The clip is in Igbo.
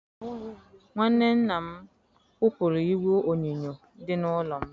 Nwanne nna m kwụpụrụ igwe onyonyo dị n'ụlọ ya.